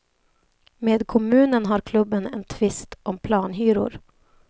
Med kommunen har klubben en tvist om planhyror.